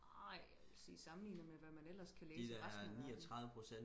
nej jeg ville sige sammelignet hvad man ellers kan læse i resten af verden